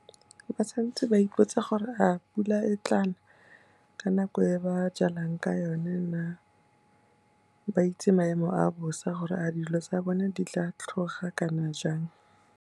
Ba santse ba ipotse gore a pula e tla na ka nako e ba jalang ka yone na, ba itse maemo a bosa gore a dilo tsa bone di tla tlhoga kana jang.